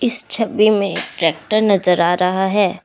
इस छवि में एक ट्रैक्टर नजर आ रहा है।